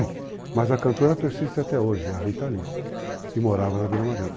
Mas a cantora persiste até hoje, a Rita Lee, que morava na Vila Mariana.